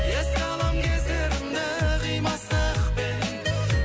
еске алам кездерімді қимастықпен